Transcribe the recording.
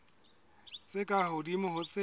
tse ka hodimo ho tse